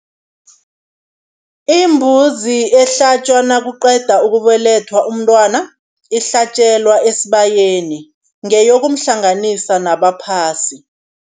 Imbuzi ehlatjwa nakuqeda ukubelethwa umntwana, ihlatjelwa esibayeni ngeyokumhlanganisa nabaphasi.